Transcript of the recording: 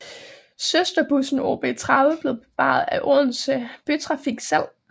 Søsterbussen OB 30 blev bevaret af Odense Bytrafik selv